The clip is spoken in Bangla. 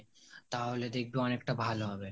তাহলে দেখবি অনেকটা ভালো হবে